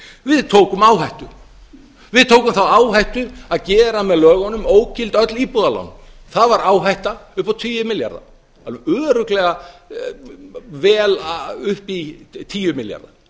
við tókum áhættu við tókum þá áhættu að gera með lögunum ógild öll íbúðalán það var áhætta upp á tugi milljarða alveg örugglega vel upp í tíu milljarða